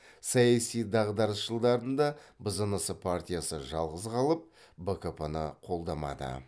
саяси дағдарыс жылдарында бзнс партиясы жалғыз қалып бкп ны қолдамады